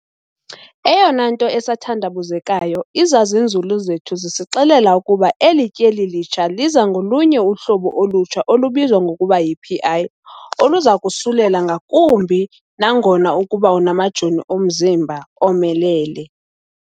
"Eyona nto esathandabuzekayo izazinzulu zethu zisixelela ukuba eli tyeli litsha liza ngolunye uhlobo olutsha olubizwa ngokuba yi-Pi, oluzakusulela ngakumbi nangona ukuba unamajoni omzimba omelele."